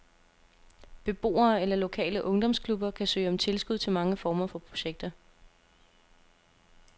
Beboere eller lokale ungdomsklubber kan søge om tilskud til mange former for projekter.